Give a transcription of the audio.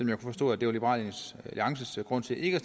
jeg forstod at det var liberal alliances grund til ikke at